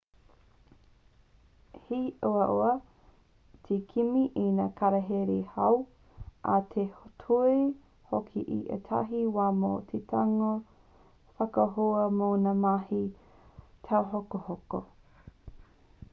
he uaua te kimi i ngā kararehe hou ā he ture hoki i ētahi wā mō te tango whakaahua mō ngā mahi tauhokohoko